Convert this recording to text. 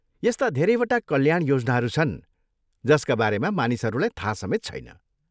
यस्ता धेरैवटा कल्याण योजनाहरू छन् जसका बारेमा मानिसहरूलाई थाहा समेत छैन।